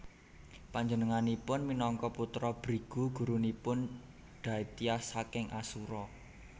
Panjenenganipun minangka putra Brigu gurunipun Daityas saking Asura